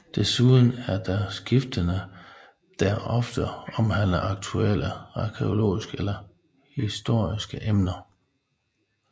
Desuden er der skiftende der ofte omhandler aktuelle arkæologiske eller historiske emner